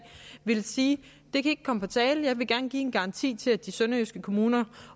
ville sige det kan ikke komme på tale jeg vil gerne give en garanti til de sønderjyske kommuner